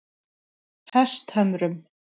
Hesthömrum